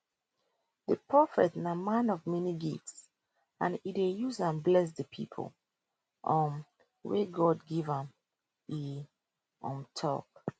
di prophet na man of many gifts and e dey use dem bless di pipo um wey god give am e um tok